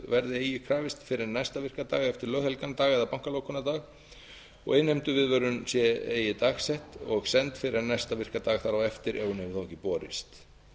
verði eigi krafist fyrr en næsta virka dag eftir löghelgan dag eða bankalokunardag og innheimtuviðvörun sé eigi dagsett og send fyrr en næsta virkan dag þar á eftir ef hún hefur borist